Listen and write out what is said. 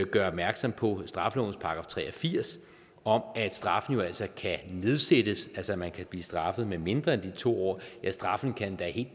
gøre opmærksom på straffelovens § tre og firs om at straffen jo altså kan nedsættes altså at man kan blive straffet med mindre end de to år ja straffen kan endda helt